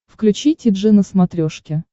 включи ти джи на смотрешке